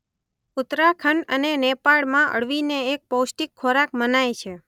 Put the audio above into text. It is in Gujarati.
ઉત્તરાખંડ અને નેપાળમાં અળવીને એક પૌષ્ટિક ખોરાક મનાય છે.